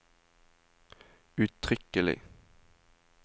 uttrykkelig